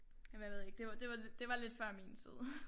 Men jeg ved ikke det var det var det var lidt før min tid